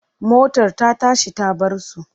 Motar ta tashi ta bar su.